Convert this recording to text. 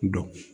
Dɔn